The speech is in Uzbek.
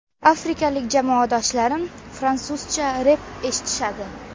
Afrikalik jamoadoshlarim fransuzcha rep eshitadi.